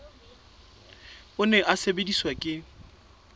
o ne o sebediswa ke